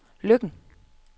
Løkken